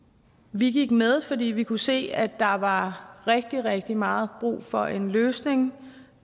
vi gik med fordi vi kunne se at der var rigtig rigtig meget brug for en løsning